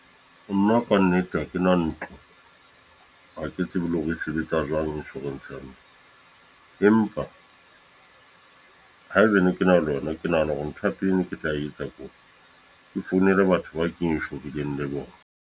Nna ka nnete ha ke na ntlo. Ha ke tsebe le hore e sebetsa jwang, insurance ya moo. Empa haebane ke na le yona, ke nahana hore ntho ya pele ne ke tla e etsa ke hore ke founele batho ba ke inshorileng le bona.